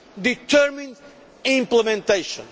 determined implementation.